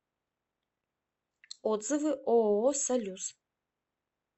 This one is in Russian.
отзывы ооо салюс